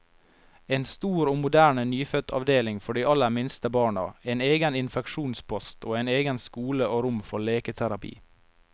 En stor og moderne nyfødtavdeling for de aller minste barna, en egen infeksjonspost, og egen skole og rom for leketerapi.